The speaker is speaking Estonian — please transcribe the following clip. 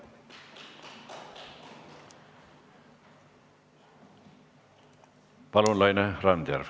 Palun, Laine Randjärv!